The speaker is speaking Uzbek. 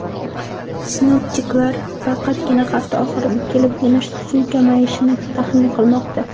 Sinoptiklar faqatgina hafta oxiriga kelibgina suv kamayishini taxmin qilmoqda.